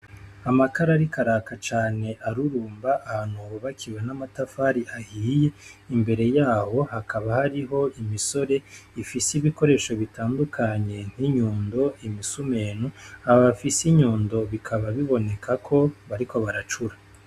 Amakara ariko araka cane arurumba, ahantu hubakiwe n'amatafari ahiye, imbere y'aho hakaba hariho imisore ifise ibikoresho bitandukanye nk'inyundo, imisumenu; abo bafise inyundo bikaba biboneka ko bariko baracura.